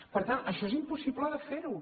per tant això és impossible de fer ho